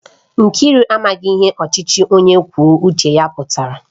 Nkiru amaghi ihe ochichi onye kwuo uche ya putara